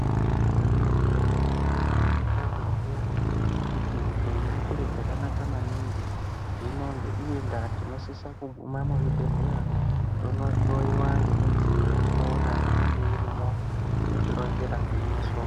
Igwinyiso remene-mene teshe tinosisa kuziya kuti upenyu chiro chakanaka maningi. Hino ngeiyi ndaa tinosisa kuguma kuzvibhedhlera tonohloyiwa ngemidziyo yatinoona inenge irimwo inotironzera gwinyiso.